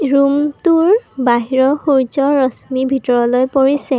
ৰূমটোৰ বাহিৰৰ সূৰ্য্যৰ ৰশ্মি ভিতৰলৈ পৰিছে।